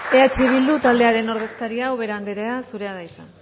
eh bildu taldearen ordezkaria ubera andrea zurea da hitza